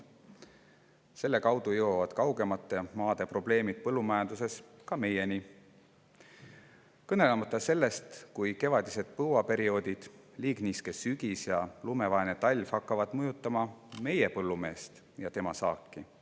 tõttu jõuavad kaugemate riikide põllumajandusprobleemid ka meieni, kõnelemata sellest, kui kevadised põuaperioodid, liigniiske sügis ja lumevaene talv hakkavad ka meie põllumeest ja tema saaki mõjutama.